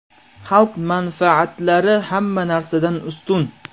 Xalq manfaatlari hamma narsadan ustun!